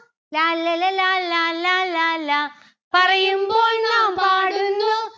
ലാല്ലല ലാലാ ലാലാ ലാ. പറയുമ്പോൾ നാം പാടുന്നു.